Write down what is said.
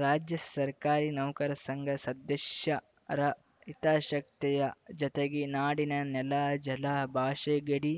ರಾಜ್ಯ ಸರ್ಕಾರಿ ನೌಕರ ಸಂಘ ಸದಶ್ಯರ ಹಿತಾಶಕ್ತೇಯ ಜತೆಗೆ ನಾಡಿನ ನೆಲ ಜಲ ಭಾಷೆ ಗಡಿ